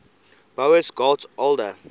boas got older